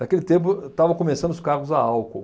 Naquele tempo, ah, estavam começando os carros a álcool.